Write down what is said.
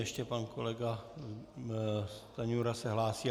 Ještě pan kolega Stanjura se hlásí.